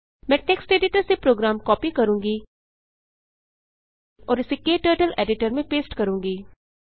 मैं text editor से program copy करूँगी और इसे क्टर्टल एडिटर में पेस्ट करूँगी